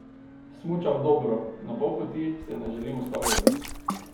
Smučam dobro, na pol poti se ne želim ustavljati!